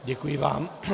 Děkuji vám.